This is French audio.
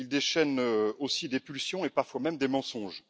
Il déchaîne aussi des pulsions, et parfois même des mensonges.